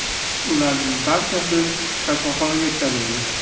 Ularning barchasi kasalxonaga yetkazildi.